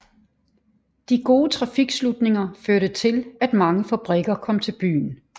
De gode trafiktilslutninger førte til at mange fabrikker kom til byen